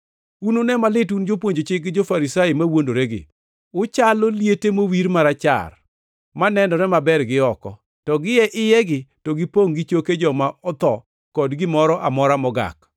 “Unune malit un jopuonj chik gi jo-Farisai mawuondoregi! Uchalo liete mowir marachar, manenore maber gi oko, to gie iyegi to gipongʼ gi choke joma otho kod gimoro amora mogak.